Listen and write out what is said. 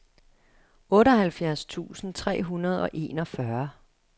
otteoghalvfjerds tusind tre hundrede og enogfyrre